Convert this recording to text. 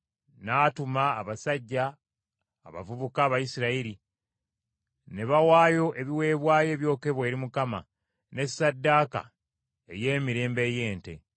N’atuma abasajja abavubuka Abayisirayiri, ne bawaayo ebiweebwayo ebyokebwa eri Mukama , ne ssaddaaka ey’emirembe ey’ente.